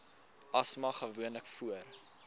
asma gewoonlik voor